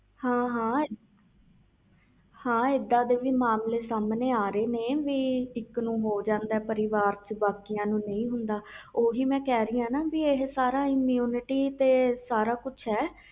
ਹਾਂ ਹਾਂ ਇਹਦੇ ਮਾਮਲੇ ਵੀ ਆ ਰਹੇ ਨੇ ਸਾਮਣੇ ਪਰਿਵਾਰ ਵਿਚ ਇਕ ਨੂੰ ਹੋ ਜਨਦਾ ਪਾਰ ਬਾਕੀ ਕਿਸੇ ਨੂੰ ਨਹੀਂ ਹੁੰਦਾ ਉਹ ਕਹਿ ਰਹੀ ਇਹ immunity ਤੇ ਹੁੰਦਾ ਸਾਰਾ